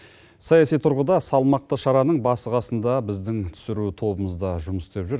саяси тұрғыда салмақты шараның басы қасында біздің түсіру тобымыз да жұмыс істеп жүр